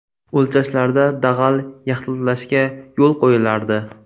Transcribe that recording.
O‘lchashlarda dag‘al yaxlitlashga yo‘l qo‘yilardi.